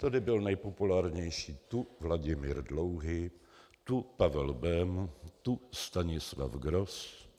Tady byl nejpopulárnější tu Vladimír Dlouhý, tu Pavel Bém, tu Stanislav Gross.